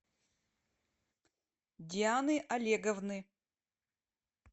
дианы олеговны